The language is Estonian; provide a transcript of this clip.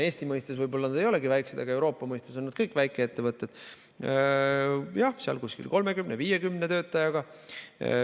Eesti mõistes nad võib-olla ei olegi väiksed, aga Euroopa mõistes on nad kõik väikeettevõtted, jah, seal 30–50 töötajaga.